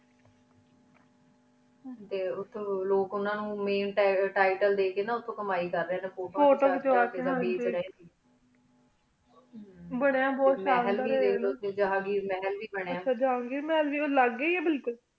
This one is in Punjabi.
ਟੀ ਉਠੀ ਲੋਗ ਉਨਾ ਨੂੰ ਮੈਂ tital ਡੀ ਕੀ ਟੀ ਕਮਾਈ ਕਰ ਰਹੀ ਨਯਨ ਫੋਟੂ ਖਿਚ ਵਾ ਕੀ ਬਯਾਂ ਬੁਹਤ ਸ਼ਾਨ ਦਰ ਆਯ ਜ਼ਹਨ ਘਿਰ ਮਹਿਲ ਵੇ ਬਨਯ ਜ਼ਹਨ ਘਿਰ ਵੇ ਲਾਘ੍ਯ ਹਰ ਹੀ ਬਿਲਕੀ